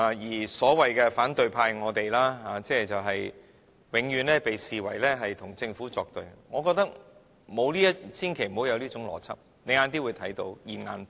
至於所謂的反對派——即我們，永遠被視為和政府作對，我覺得千萬不要有這種邏輯，你晚點會看到"現眼報"。